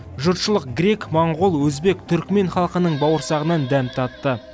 жұртшылық грек моңғол өзбек түркімен халқының бауырсағынан дәм татты